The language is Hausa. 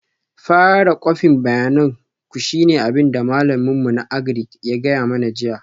Fara kwafin bayanin ku shine abin da malamin mu na Agric ya gaya mana jiya